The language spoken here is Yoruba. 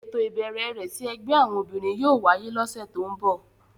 Éto ibẹrẹ rẹ si ẹgbẹ awọn obinrin yóò waye lose to nbọ.